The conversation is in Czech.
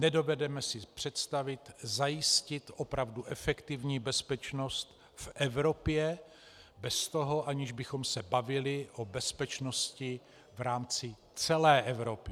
Nedovedeme si představit zajistit opravdu efektivní bezpečnost v Evropě bez toho, aniž bychom se bavili o bezpečnosti v rámci celé Evropy.